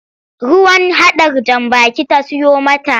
Ruwan hadar jan baki ta siyo mata.